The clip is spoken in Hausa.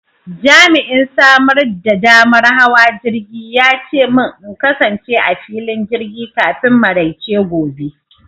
Jami'in samar da damar hawa jirgi ya ce min in kasance a filin jirgi kafin maraice gobe.